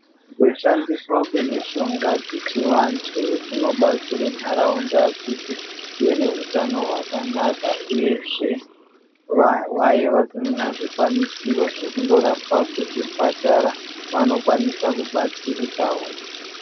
Kushandiswa kwemishonga dzechivantu kunobatsire nharaunda kuti ive neutano hwakanaka, uyezve vanhu vaya vasina zvikwanisiro zvekundorapwa kuzvipatara vanokwanisa kubatsirikawo.